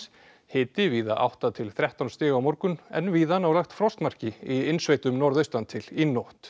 hiti víða átta til þrettán stig á morgun en víða nálægt frostmarki í innsveitum norðaustan til í nótt